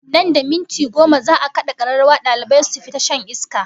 Nan da minti goma za'a kada kararrawa dalibai su fita shan iska